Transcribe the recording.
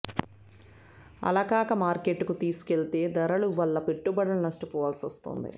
అలాకాక మార్కెట్కు తీసుకెళ్తే దళారుల వల్ల పెట్టుబడులను నష్టపోవాల్సి వస్తోంది